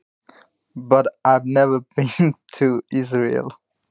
En ég hef aldrei farið til Ísraels.